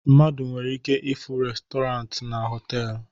Mmadụ nwere ike ịfụ restọrant na họtelu